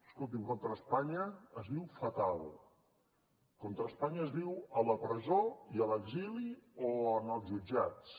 escolti’m contra espanya es viu fatal contra espanya es viu a la presó i a l’exili o en els jutjats